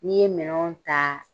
N'i ye minɛnw ta